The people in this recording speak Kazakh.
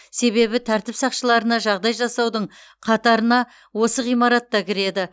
себебі тәртіп сақшыларына жағдай жасаудың қатарына осы ғимаратта кіреді